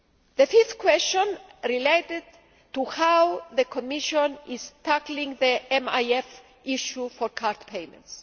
The fifth question related to how the Commission is tackling the MIF issue for card payments.